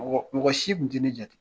Mɔgɔ mɔgɔ si tun tɛ ne jate